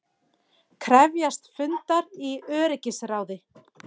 Krefjast fundar í öryggisráði